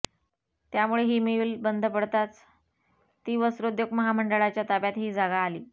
त्यामुळे ही मिल बंद पडताच ती वस्त्रोद्योग महामंडळाच्या ताब्यात ही जागा आली